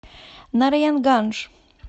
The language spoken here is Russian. нараянгандж